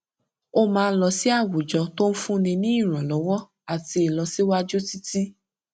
ó máa ń lọ sí àwùjọ tó ń fún ni ní ìrànlọwọ àtì ilọsiwaju títí